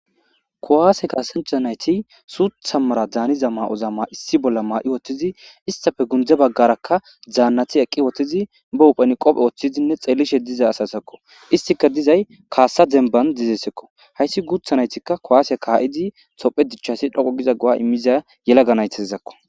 kuwaase kaasancha nayti suutha mara daaniza ma7oza ma issi bolla maa7i woththizi istafe gundze baggarakka daannati eqqi woththizi ba hupheni qophe woththizinne xeelishe diza asasakko istika dizay kaasa demban dizesekko hayssi guutha naytikka kowaasye kaa7idi tophe dichchasi dhoqo giza go7a immiza yelaga naythazakko